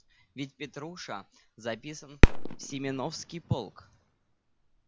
ведь петруша записан в семёновский полк